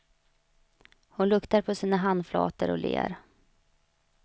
Hon luktar på sina handflator och ler.